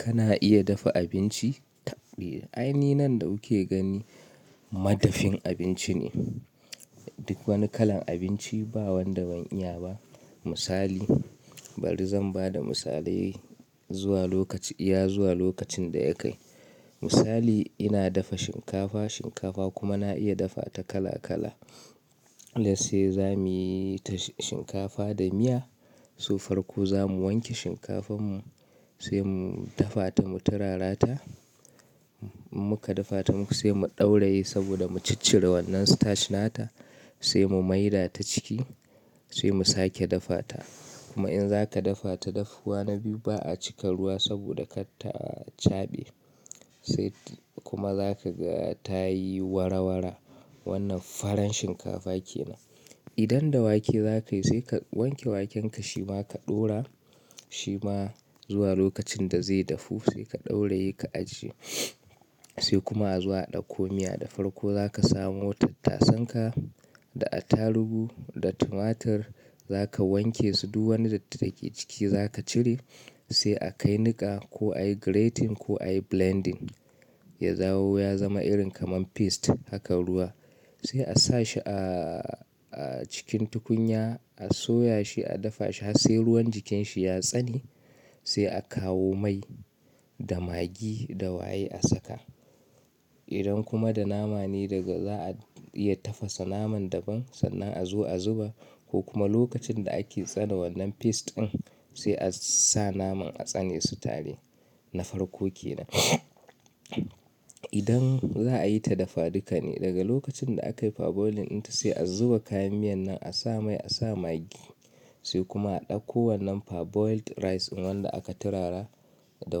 Kana iya dafa abinci taɓdijan Aini nan da kuke gani madafin abinci ne. Duk wani kalan abinci ba wanda ban iya ba. Misali, bari zan ba da misalai zuwa lokaci, iya zuwa lokacin da ya kai. Misali ina dafa shinkafa, shinkafa kuma na iya dafa ta kala kala. Let's say za muyi ta shinkafa da miya, so farko za mu wanke shinkafan mu sai mu dafa ta mu turara ta. Muka dafa ta sai mu ɗauraye saboda mu ciccire wannan starch nata sai mu mai da ta ciki sai mu sake dafa ta. Kuma in zaka dafa ta dafuwa na biyu ba a cika ruwa saboda kar ta cabe sai kuma za ka ga ta yi wara wara. Wannan faran shinkafa ke nan. Idan da wake za kai sai ka wanke waken ka shima ka ɗora shi ma zuwa lokacin da zai dafu sai ka ɗauraye ka ajiye sai kuma azo a ɗauko miya. Da farko za ka samo tattasan ka da attarugu da tumatir za ka wanke su du wani datti da ke ciki za ka cire sai a kai niƙa ko ayi grating ko ayi blending ya zawo ya zama irin kaman paste haka ruwa sai a sa shi a a cikin tukunya, a soya shi, a dafa shi har sai ruwan jikin shi ya tsane sai a kawo mai da magi da waye a saka. Idan kuma da nama ne daga za a iya tafasa naman daban sannan a zo a zuba ko kuma lokacin da ake tsane wannan paste ɗin sai a sa naman a tsane su tare. Na farko ke nan. Idan za a yi ta dafadika ne daga lokacin da akai parboiling inta sai a zuba kayan miyan nan a sa mai, a sa magi sai kuma a ɗauko wannan parboiled rice in wanda aka turara da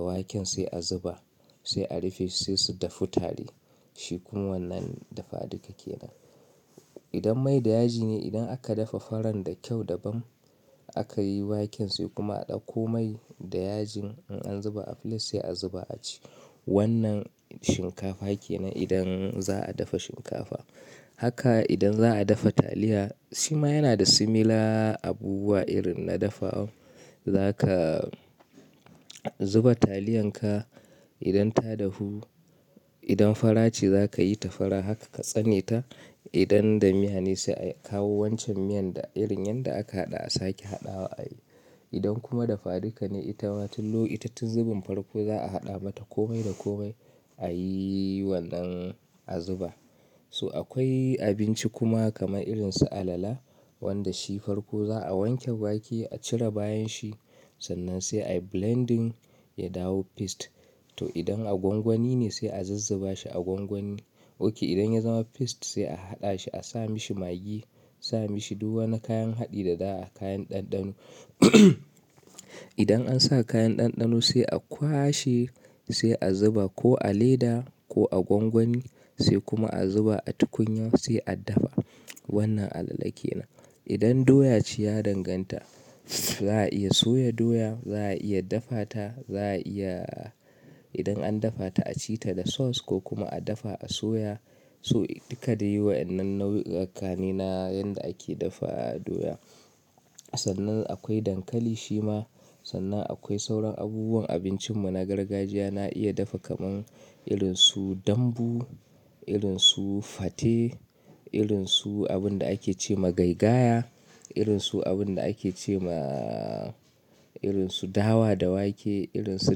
waken sai a zuba sai a rufe sai su dafu tare. Shi kuma wannan dafadika ke nan. Idan mai da yaji ne idan aka dafa faran da kyau daban aka yi waken sai kuma a ɗauko mai da yajin in an zuba a fili sai a zuba a ci. Wannan shinkafa ke nan idan za a dafa shinkafa. Haka idan za a dafa taliya, shi ma yana da similar abubuwa irin na dafawan. Za ka zuba taliyan ka idan ta dahu. Idan fara ce za ka yi ta fara haka ka tsane ta. Idan da miya ne sai a kawo wancan miyan da irin yanda aka haɗa a sake haɗawa a yi. Idan kuma dafadika ne ita ma tin lo tun zubin farko za a haɗa mata ko mai da ko mai a yi wannan a zuba. So akwai abinci kuma kamar irin su alala wanda shi farko za a wanke wake a cire bayan shi sannan sai ai blending ya dawo paste. To idan a gwangwani ne sai a zizziba shi a gwangwani. Ok idan ya zama paste sai a haɗa shi a sa mishi magi, asa mishi du wani kayan haɗi da za a, kayan ɗanɗano. Idan an sa kayan ɗanɗano sai a kwashe sai a zuba ko a leda ko a gwangwani sai kuma a zuba a tukunya sai a dafa. Wannan alala ke nan. Idan doya ce ya danganta. Za a iya soya doya, za a iya dafa ta, za a iya idan an dafa ta a ci ta da sauce ko kuma a dafa a soya. So duka dai wayannan nau'ukan ne na yanda ake dafa doya. Sannan akwai dankali shi ma. Sannan akwai sauran abubuwan abincin mu na gargajiya na iya dafa kamar irin su dambu, irin su fate, irin su abun da ake ce ma gaigaya, irin su abun da ake ce maaa irin su dawa da wake, irin su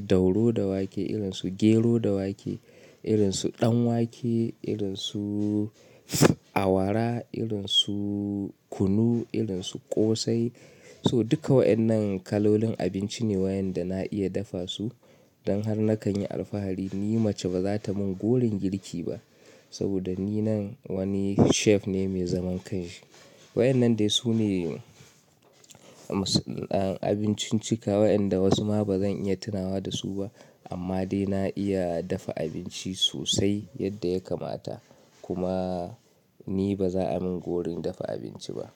dauro da wake, irin su gero da wake, irin su ɗanwake, irin su awara, irin su kunu, irin su ƙosai. So duka wa'inan kalolin abinci ne wayanda na iya dafa su. Don har na kan yi alfahari ni mace ba za ta min gorin girki ba saboda ni nan wani chef ne mai zaman kai. Wa'inan dai su ne misalan abincin cika wa'inda wasu ma ba zan iya tunawa da su ba. Amma dai na iya dafa abinci sosai yadda ya kamata. Kuma ni ba za a min gorin dafa abinci ba.